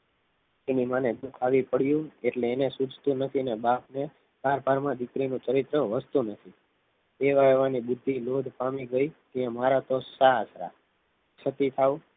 એની માને દુઃખ આવી પડ્યું એટલે એને સુજતું નથી ને બાપને પાર પાડ માં દીકરી નું ચરિત્ર વસ્તુ નથી એવા એવાને બુદ્ધિ લોટ પામી ગઈ કે અમારા તો સસરા હતા છતી થાવ